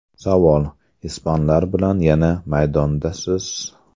Savol: Ispanlar bilan yana maydondasiz…?